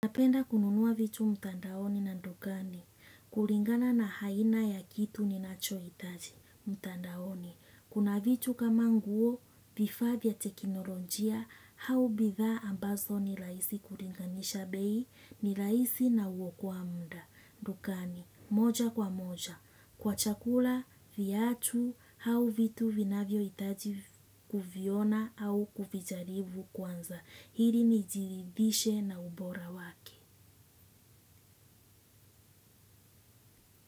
Napenda kununua vitu mtandaoni na dukani. Kulingana na aina ya kitu ninachohitaji. Mtandaoni. Kuna vitu kama nguo, vifaa vya teknolojia, au bidhaa ambazo ni rahisi kulinganisha bei, ni rahisi na huokoa muda dukani. Moja kwa moja. Kwa chakula, viatu au vitu vinavyohitaji kuviona au kuvijaribu kwanza ili nijiridhishe na ubora wake.